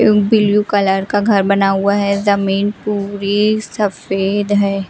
इयु blue colour का घर बना हुआ है जमीन पूरी सफेद है।